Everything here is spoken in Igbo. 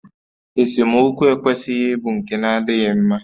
Esemokwu ekwesịghị ịbụ nke na-adịghị mma